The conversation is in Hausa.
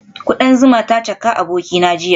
Kudan zuma ta caka abokina jiya